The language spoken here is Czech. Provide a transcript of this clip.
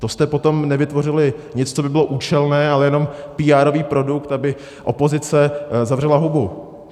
To jste potom nevytvořili nic, co by bylo účelné, ale jenom PR produkt, aby opozice zavřela hubu.